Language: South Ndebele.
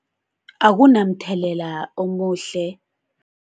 Akunamthelela omuhle.